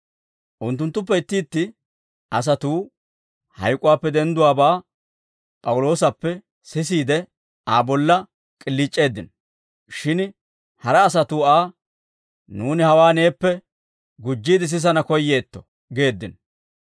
Unttunttuppe itti itti asatuu hayk'uwaappe dendduwaabaa P'awuloosappe sisiide, Aa bolla k'iliic'eeddino; shin hara asatuu Aa, «Nuuni hawaa neeppe gujjiide sisana koyyeetto» geeddino.